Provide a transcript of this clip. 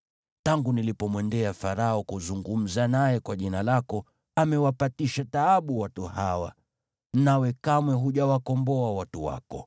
Tangu nilipomwendea Farao kuzungumza naye kwa jina lako, amewaletea taabu watu hawa, nawe kamwe hujawakomboa watu wako.”